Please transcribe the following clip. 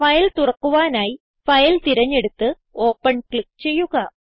file തുറക്കുവാനായി file തിരഞ്ഞെടുത്ത് open click ചെയ്യുക